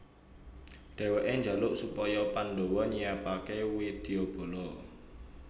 Dheweke njaluk supaya Pandhawa nyiapake widyabala